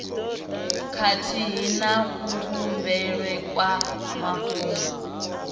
khathihi na kuvhumbelwe kwa mafhungo